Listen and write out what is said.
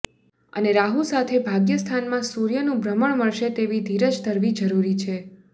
અને રાહુ સાથે ભાગ્યસ્થાનમાં સૂર્યનું ભ્રમણ મળશે તેવી ધીરજ ધરવી જરૂરી છે